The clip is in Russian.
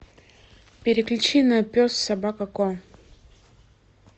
переключи на пес собака ко